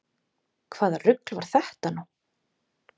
Hvaða rugl var þetta nú?